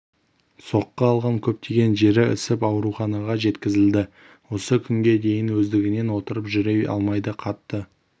соққы алған көптеген жері ісіп ауруханаға жеткізілді осы күнге дейін өздігінен отырып жүре алмайды қатты